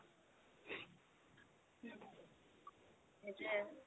সেইটোয়ে